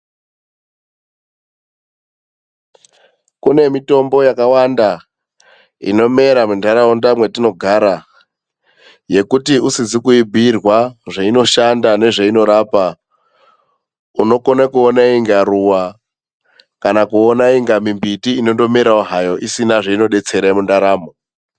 Kune mitombo yakawanda inomera munharaunda mwetinogara yekuti usizi kuibhirwa zveinoshanda nezveinorapa, unokona kuona unga maruwa kana mimbiti isina zvainodetsera mundaramo.